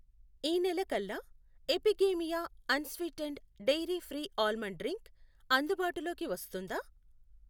ఈ నెల కల్లా Epigamia unsweetened dairy free almond drink అందుబాటులోకి వస్తుందా?